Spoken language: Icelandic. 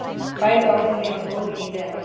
Bæði orðin lifa góðu lífi enn í dag.